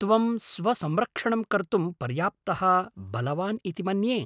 त्वं स्वसंरक्षणं कर्तुं पर्याप्तः बलवान् इति मन्ये।